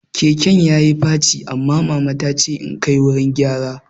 Keken yayi faci, amma mama tace in kai wurin gyara